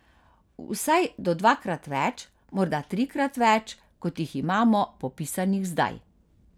Vsaj do dvakrat več, morda trikrat več, kot jih imamo popisanih zdaj.